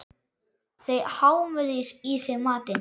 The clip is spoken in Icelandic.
Þau hámuðu í sig matinn.